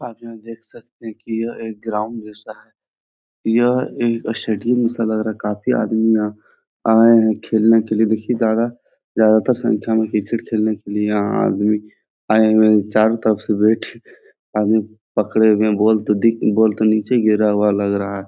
आप यहाँ दिख सकते है की यह एक ग्राउंड जैसा है। यह एक स्टेडियम जैसे लग रहा है। काफी आदमी आये है खेलने के लिया दादा ज्यादा दर संख्या में क्रिकेट खेलने के लिया यहाँ आदमी आये हुए है। चारो तरफ से बैट आदमी पकडे हुए है बॉल तो दिख बॉल तो निचे गिरा हुआ लग रहा है।